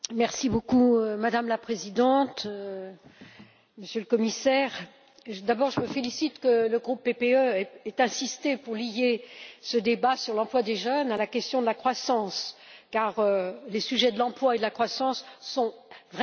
Madame la Présidente, Monsieur le Commissaire, d'abord, je me félicite que le groupe PPE ait insisté pour lier ce débat sur l'emploi des jeunes à la question de la croissance, car les sujets de l'emploi et de la croissance sont vraiment liés.